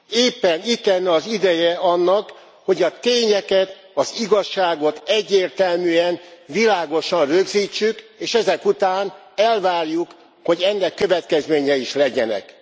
Éppen itt lenne az ideje annak, hogy a tényeket, az igazságot egyértelműen, világosan rögzítsük, és ezek után elvárjuk, hogy ennek következményei is legyenek.